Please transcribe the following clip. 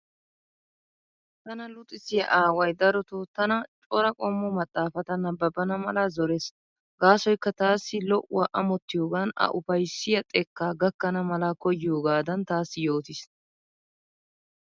Tana luxissiya aaway darotoo tana cora qommo maxxaafata nabbabbana mala zorees. Gaasoyikka taassi lo'uwa amottiyoogan a ufayissiya xekkaa gakkana mala koyiyoogaadan taassi yootiis.